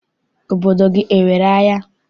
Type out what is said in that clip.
Obodo gị enwere ahịa?